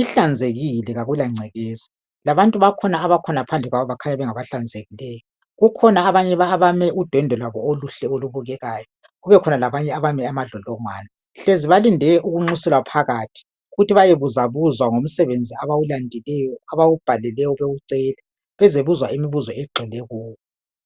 Ihlanzekile, kakupangcekeza. Labantu bakhona abakhona phandle khonapha bakhanya bengabahlanzekileyo. Kukhona abanye abame udwendwe lwabo oluhle., olubukekayo. Kubekhona abanye abami amadlodlongwana.. Hlezi balindele ukunxuselwa phakathi. Ukuthi bayebuzwabuzwa ngomsebenzi abawulandileyo, abhawubhaleleyo bewucela, Bezebuzwa imibuzo egxile kuwo.